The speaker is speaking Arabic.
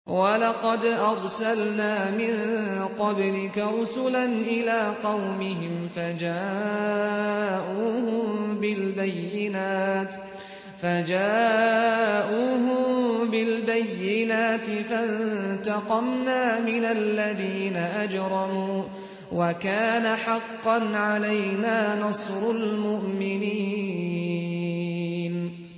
وَلَقَدْ أَرْسَلْنَا مِن قَبْلِكَ رُسُلًا إِلَىٰ قَوْمِهِمْ فَجَاءُوهُم بِالْبَيِّنَاتِ فَانتَقَمْنَا مِنَ الَّذِينَ أَجْرَمُوا ۖ وَكَانَ حَقًّا عَلَيْنَا نَصْرُ الْمُؤْمِنِينَ